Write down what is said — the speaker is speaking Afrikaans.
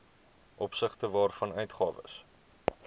opsigte waarvan uitgawes